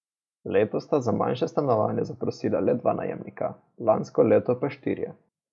Letos sta za manjše stanovanje zaprosila le dva najemnika, lansko leto pa štirje.